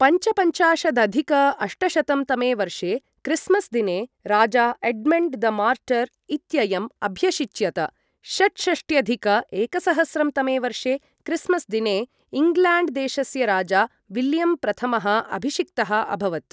पञ्चपञ्चाशदधिक अष्टशतं तमे वर्षे क्रिस्मस् दिने राजा एड्मण्ड् द मार्टर् इत्ययम् अभ्यषिच्यत, षट्षष्ट्यधिक एकसहस्रं तमे वर्षे क्रिस्मस् दिने इङ्ग्ल्याण्ड् देशस्य राजा विलियम् प्रथमः अभिषिक्तः अभवत्।